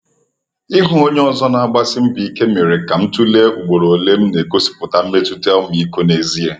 Ịhụ onye ọzọ na-agbasi mbọ ike mere ka m tụlee ugboro ole m na-egosipụta mmetụta ọmịiko n’ezie.